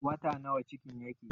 Wata nawa cikin yake?